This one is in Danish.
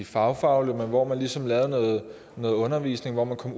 fagfaglige men hvor man ligesom havde noget undervisning hvor man kom